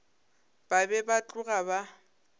ba be ba tloga ba